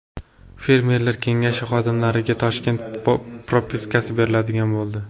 Fermerlar kengashi xodimlariga Toshkent propiskasi beriladigan bo‘ldi.